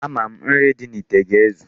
Ama m, nri dị n'ite ga-ezu.